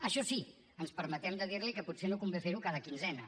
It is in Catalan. això sí ens permetem de dir li que potser no convé fer ho cada quinzena